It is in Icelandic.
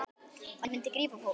Það myndi grípa fólk.